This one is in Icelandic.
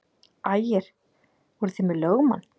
Ægir: Voruð þið með lögmann?